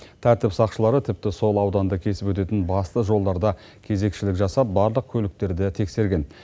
тәртіп сақшылары тіпті сол ауданды кесіп өтетін басты жолдарда кезекшілік жасап барлық көліктерді тексерген